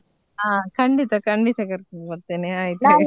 ಹಾ ಖಂಡಿತ ಖಂಡಿತ ಕರ್ಕೊಂಡು ಬರ್ತೇನೆ .